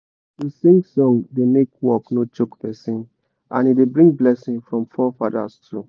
to sing song da make work no choke person and e da bring blessing from fore fadas too